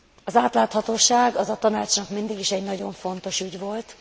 Az átláthatóság az a Tanácsnak mindig is egy nagyon fontos ügy volt.